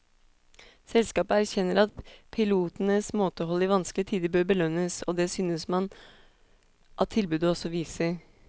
Selskapet erkjenner at pilotenes måtehold i vanskelige tider bør belønnes, og det synes man at tilbudet også viser.